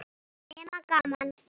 Nema gaman.